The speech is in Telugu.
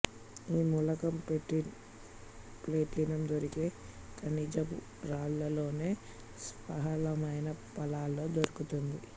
ఈ మూలకం ప్లేటినం దొరికే ఖనిజపు రాళ్లల్లోనే స్వల్పమైన పాళ్లల్లో దొరుకుతుంది